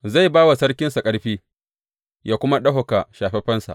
Zai ba wa sarkinsa ƙarfi, yă kuma ɗaukaka shafaffensa.